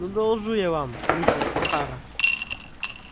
ну доложу я вам миссис охара